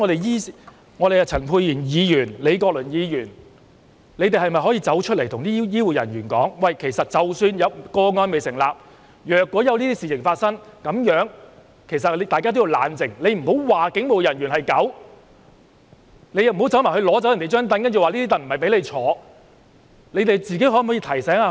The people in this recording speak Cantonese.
醫院管理局、陳沛然議員或李國麟議員是否可以公開告訴醫護人員，即使個案未成立，但若發生這類事情，大家要冷靜，不要罵警務人員是狗，也不要取走警務人員的椅子，說不是給他坐的？